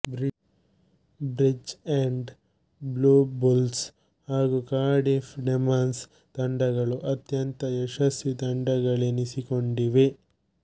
bridge end Blue Bulls ಹಾಗು Cardiff Demons ತಂಡಗಳು ಅತ್ಯಂತ ಯಶಸ್ವೀ ತಂಡಗಳೆನಿಸಿಕೊಂಡಿವೆ